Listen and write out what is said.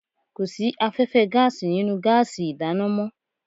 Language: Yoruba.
Kò sí afẹ́fẹ́ gáàsì nínú gáàsì ìdáná mọ́